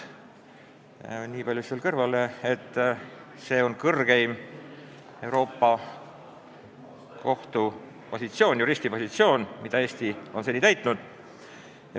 Ütlen nii palju veel kõrvalepõikena, et see on kõrgeim Euroopa Kohtu juristi positsioon, mida Eesti on seni täitnud.